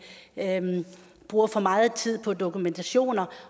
bruger for meget tid på dokumentation